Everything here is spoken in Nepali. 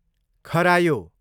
खरायो